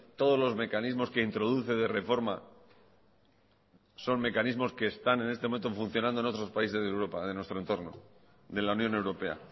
todos los mecanismos que introduce de reforma son mecanismos que están en este momento funcionando en otros países de europa de nuestro entorno de la unión europea